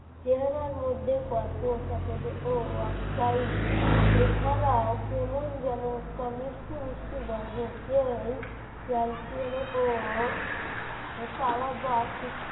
চেহারার মধ্যে গল্প সাকেদ ও Oxide এছাড়াও কেমন যেন একটা মিষ্টি মিষ্টি গন্ধ সেই calcium ও পাওয়া বা